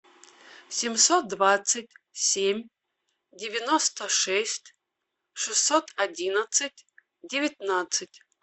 семьсот двадцать семь девяносто шесть шестьсот одиннадцать девятнадцать